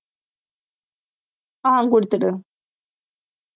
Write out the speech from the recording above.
ஆஹ் குடுத்துரு